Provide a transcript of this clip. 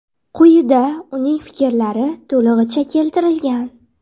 Quyida uning fikrlari to‘lig‘icha keltirilgan.